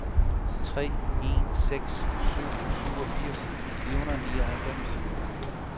tre en seks syv syvogfirs fire hundrede og nioghalvfems